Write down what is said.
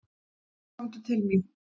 Komdu til mín.